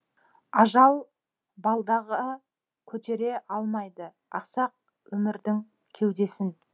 ажал балдағы көтере алмайды ақсақ өмірдің кеудесін